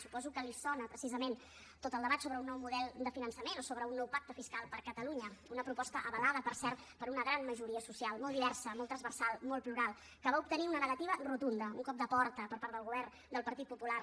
suposo que li sona precisament tot el debat sobre un nou model de finançament o sobre un nou pacte fiscal per a catalunya una proposta avalada per cert per una gran majoria social molt diversa molt transversal molt plural que va obtenir una negativa rotunda un cop de porta per part del govern del partit popular